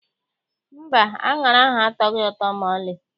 Mba, aṅara ahụ atọghị ụtọ maọlị.